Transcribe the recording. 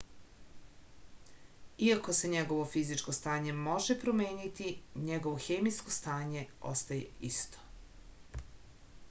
iako se njegovo fizičko stanje može promeniti njegovo hemijsko stanje ostaje isto